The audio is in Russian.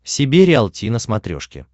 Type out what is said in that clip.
себе риалти на смотрешке